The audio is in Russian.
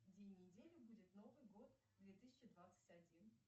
день недели будет новый год две тысячи двадцать один